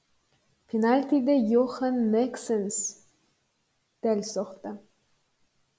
пенальтиді йохан нексенс дәл соқты